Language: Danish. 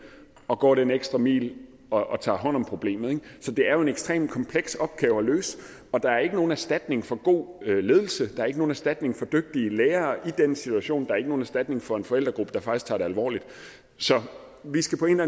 og går den ekstra mil og tager hånd om problemet ikke så det er jo en ekstremt kompleks opgave at løse og der er ikke nogen erstatning for god ledelse der er ikke nogen erstatning for dygtige lærere i den situation er ikke nogen erstatning for en forældregruppe der faktisk tager det alvorligt så vi skal på en